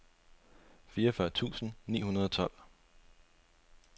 fireogfyrre tusind ni hundrede og tolv